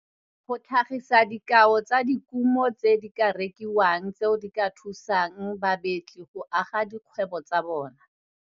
Go tlhagisa dikao tsa dikumo tse di ka rekiwang tseo di ka thusang babetli go aga dikgwebo tsa bona.